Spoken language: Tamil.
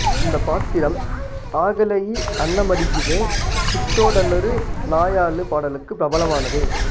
இந்த பாத்திரம் ஆகலயி அன்னமடிகிதே பிச்சோடன்னரு நாயால்லு பாடலுக்கு பிரபலமானது